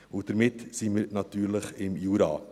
Und damit sind wir natürlich im Jura.